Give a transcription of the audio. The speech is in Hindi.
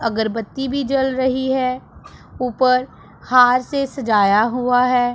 अगरबत्ती भी जल रही है ऊपर हार से सजाया हुआ है।